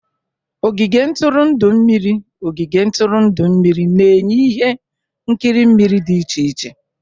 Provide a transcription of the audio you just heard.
Ogige ntụrụndụ mmiriOgige ntụrụndụ mmiri na-enye ihe nkiri mmiri dị iche iche.